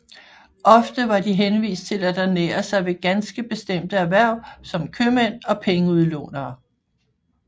Ofte var de henvist til at ernære sig ved ganske bestemte erhverv som købmænd og pengeudlånere